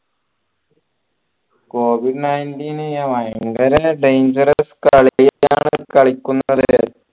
covid nineteen ഭയങ്കര dangerous കളിയാണ് കളിക്കുന്നത്